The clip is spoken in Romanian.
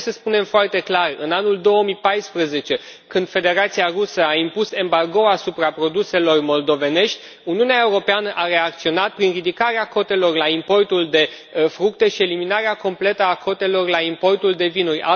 Trebuie să spunem foarte clar că în anul 2014, când Federația Rusă a impus embargo asupra produselor moldovenești, Uniunea Europeană a reacționat prin ridicarea cotelor la importul de fructe și eliminarea completă a cotelor la importul de vinuri.